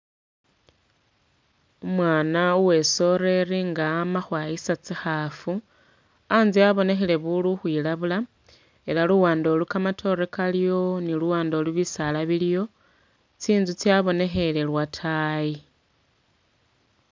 Umwana uwesoreri nga ama khwayisa tsikhaafu a'ntse abonekhele buli ukhwilabula ela luwande olu kamatore kaliyo ni luwande olu bisaala biliyo tsi'nzu tsya bonekhele lwatayi